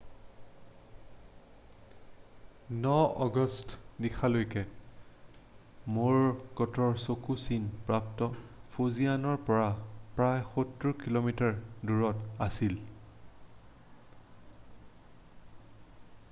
9 আগষ্টৰ নিশালৈকে ম'ৰকটৰ চকু চীন প্ৰাপ্ত ফুজিয়ানৰ পৰা প্ৰায় সত্তৰ কিলোমিটাৰ দূৰত আছিল৷